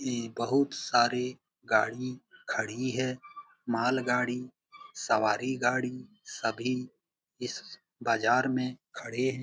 इ बहुत सारी गाड़ी खड़ी है। माल गाड़ी सवारी गाड़ी सभी इस बाजार मे खड़े है।